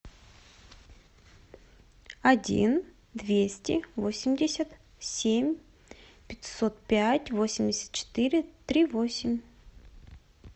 один двести восемьдесят семь пятьсот пять восемьдесят четыре три восемь